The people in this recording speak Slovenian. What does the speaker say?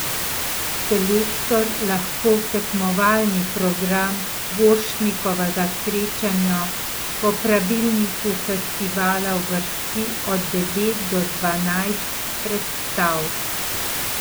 Selektor lahko v tekmovalni program Borštnikovega srečanja po pravilniku festivala uvrsti od devet do dvanajst predstav.